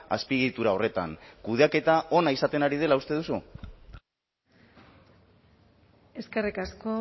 azpiegitura horretan kudeaketa ona izaten ari dela uste duzu eskerrik asko